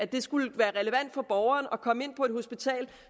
det skulle være relevant for borgeren at komme ind på et lokalt hospital